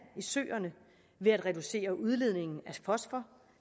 i søerne ved at reducere udledningen af fosfor